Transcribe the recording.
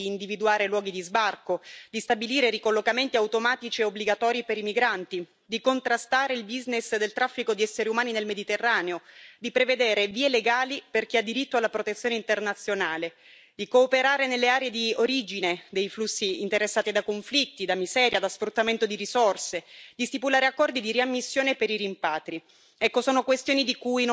Si tratta di salvare vite e di individuare i luoghi di sbarco, di stabilire ricollocamenti automatici e obbligatori per i migranti, di contrastare il business del traffico di esseri umani nel Mediterraneo, di prevedere vie legali per chi ha diritto alla protezione internazionale, di cooperare nelle aree di origine dei flussi interessati da conflitti, da miseria, da sfruttamento di risorse, di stipulare accordi di riammissione per i rimpatri.